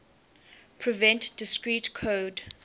prevent discrete code